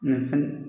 Mɛ fɛn